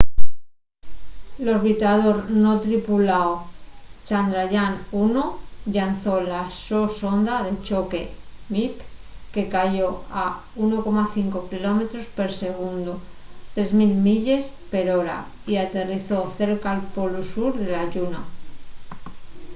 l'orbitador non tripuláu chandrayaan-1 llanzó la so sonda de choque mip que cayó a 1,5 km per segundu 3 000 milles per hora y aterrizó cerca'l polu sur de la lluna